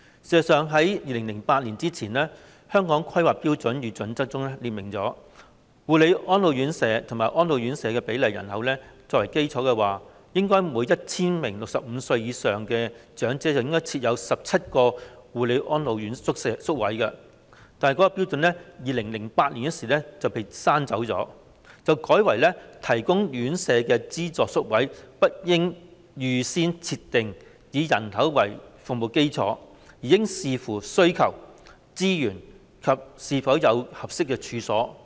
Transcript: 事實上 ，2008 年之前的《香港規劃標準與準則》中列明，護理安老院舍及安老院舍的比例以人口為基礎，應為每 1,000 名65歲或以上長者設有17個護理安老宿位，但是，這標準於2008年被刪去，並改為"提供院舍的資助宿位不應預先設定以人口為服務基礎，而應視乎需求、資源及是否有合適處所"。